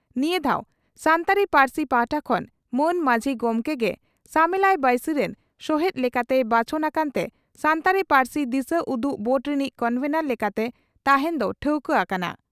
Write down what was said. ᱱᱤᱭᱟᱹ ᱫᱷᱟᱣ ᱥᱟᱱᱛᱟᱲᱤ ᱯᱟᱹᱨᱥᱤ ᱯᱟᱦᱴᱟ ᱠᱷᱚᱱ ᱢᱟᱱ ᱢᱟᱹᱡᱷᱤ ᱜᱚᱢᱠᱮ ᱜᱮ ᱥᱟᱢᱮᱞᱟᱭ ᱵᱟᱹᱭᱥᱤ ᱨᱤᱱ ᱥᱚᱦᱮᱛ ᱞᱮᱠᱟᱛᱮᱭ ᱵᱟᱪᱷᱚᱱ ᱟᱠᱟᱱᱛᱮ 'ᱥᱟᱱᱛᱟᱲᱤ ᱯᱟᱹᱨᱥᱤ ᱫᱤᱥᱟᱹᱩᱫᱩᱜᱽ ᱵᱳᱨᱰ ᱨᱤᱱᱤᱡ ᱠᱚᱱᱵᱷᱮᱱᱚᱨ ᱞᱮᱠᱟᱛᱮ ᱛᱟᱦᱮᱸᱱ ᱫᱚ ᱴᱷᱟᱹᱣᱠᱟᱹ ᱟᱠᱟᱱᱟ ᱾